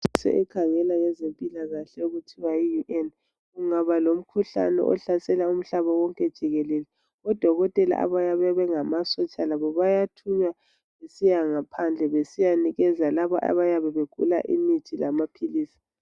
Ihlanganiso ekhangela ngezempilakahle okuthiwa yi UN kungaba lomkhuhlane ohlasela umhlaba wonke jikelele. Odokotela abayabe bengamasotsha labo bayathunywa besiya ngaphandle besiyanikeza laba abayabe begula imithi lamaphilisi.